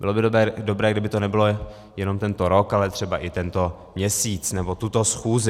Bylo by dobré, kdyby to nebylo jenom tento rok, ale třeba i tento měsíc nebo tuto schůzi.